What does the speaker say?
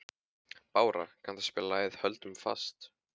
Bára, kanntu að spila lagið „Höldum fast“?